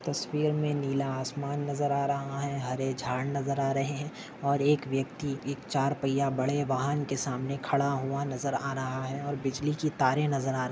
तस्वीर मे नीला आसमान नजर आ रहा है हरे झाड नजर आ रहे है और एक व्यक्ति एक चार पय्या बड़े वाहन के सामने खड़ा हुआ नजर आ रहा है और बिजली की तारे नजर आर--